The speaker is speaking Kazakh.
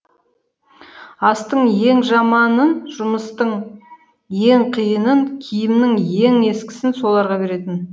астың ең жаманын жұмыстың ең қиынын киімнің ең ескісін соларға беретін